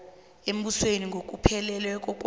embusweni ngokuphelela kwawo